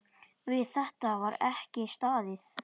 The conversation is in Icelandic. Við þetta var ekki staðið.